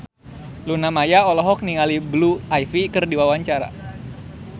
Luna Maya olohok ningali Blue Ivy keur diwawancara